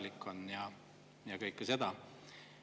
Mitte see, et olid küsimused Liibanoni või Mosambiigi või muu.